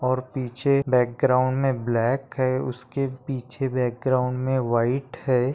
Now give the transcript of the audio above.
और पीछे बॅकग्राउंड में ब्लैक है उसके पीछे बॅकग्राउंड मैं व्हाइट है।